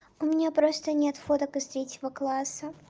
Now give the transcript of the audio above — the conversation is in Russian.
у меня просто нет фоток из третьего класса